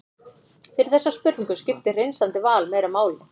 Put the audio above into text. fyrir þessa spurningu skiptir hreinsandi val meira máli